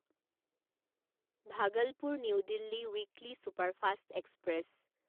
Bhagalpur new Delhi weekly superfast express